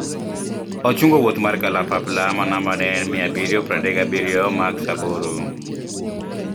Ochungo wuoth mar kalapapla ma namba ne en 737 Max 8